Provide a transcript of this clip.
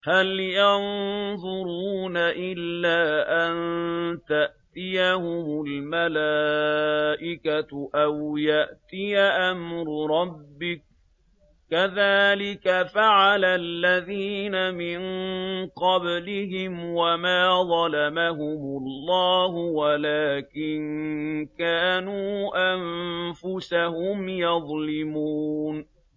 هَلْ يَنظُرُونَ إِلَّا أَن تَأْتِيَهُمُ الْمَلَائِكَةُ أَوْ يَأْتِيَ أَمْرُ رَبِّكَ ۚ كَذَٰلِكَ فَعَلَ الَّذِينَ مِن قَبْلِهِمْ ۚ وَمَا ظَلَمَهُمُ اللَّهُ وَلَٰكِن كَانُوا أَنفُسَهُمْ يَظْلِمُونَ